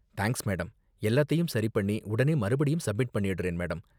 Thanks madam, எல்லாத்தையும் சரி பண்ணி உடனே மறுபடியும் சப்மிட் பண்ணிடுறேன் மேடம்.